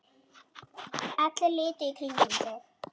Allir litu í kringum sig.